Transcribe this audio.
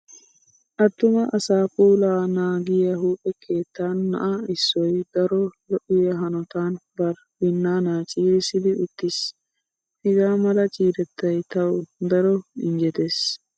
Attuma asaa puulaa naagiya huuphe keettan na'a issoy daro lo'iya hanotan bari binnaanaa ciirissidi uttiis. Hagaa mala ciirettay tawu daro injjetees.